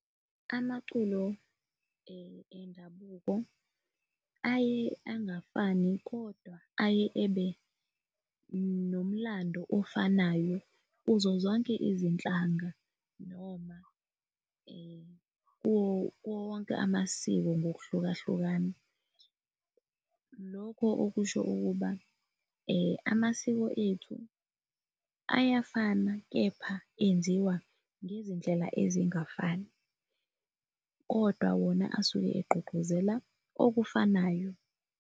Amaculo endabuko aye angafani, kodwa aye ebe nomlando ofanayo kuzo zonke izinhlanga noma kuwo wonke amasiko ngokuhlukahlukana, lokho okusho ukuba amasiko ethu ayafana kepha enziwa ngezindlela ezingafani, kodwa wona asuke egqugquzela okufanayo.